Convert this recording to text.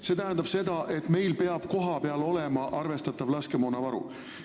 See tähendab seda, et meil peab kohapeal olema arvestatav laskemoonavaru.